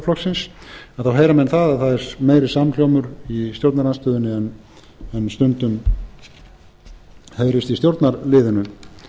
heyra menn að það er meiri samhljómur í stjórnarandstöðunni en stundum heyrist í stjórnarliðinu að